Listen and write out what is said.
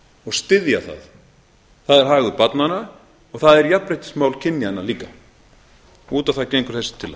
og styðja það það er hagur barnanna og það er jafnréttismál kynjanna líka út